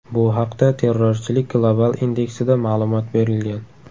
Bu haqda Terrorchilik global indeksida ma’lumot berilgan .